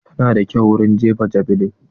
Ta na da kyau wurin jefa javeline.